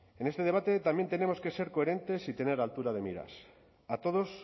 en este debate también tenemos que ser coherentes y tener altura de miras a todos